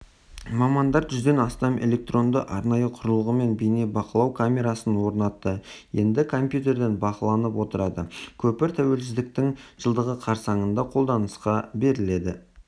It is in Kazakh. мамандар жүзден астам электронды арнайы құрылғы мен бейнебақылау камерасын орнатты енді компьютерден бақыланып отырады көпір тәуелсіздіктің жылдығы қарсаңында қолданысқа беріледі